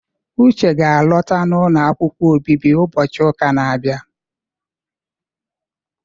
Uche ga-alọta n'ụlọ akwụkwọ obibi ụbọchị ụka na-abịa.